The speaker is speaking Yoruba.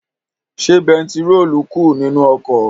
Ṣé bẹntiróòlù kù nínu ọkọ̀?